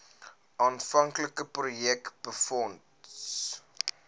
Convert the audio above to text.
aanvanklike projek befonds